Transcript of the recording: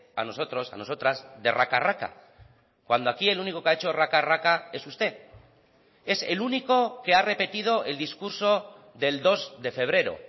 a nosotros a nosotras de raca raca cuando aquí el único que ha hecho raca raca es usted es el único que ha repetido el discurso del dos de febrero